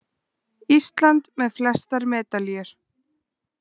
Ísland með flestar medalíur